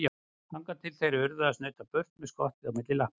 Þangað til þeir urðu að snauta burt með skottið milli lappanna.